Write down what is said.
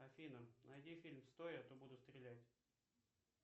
афина найди фильм стой а то буду стрелять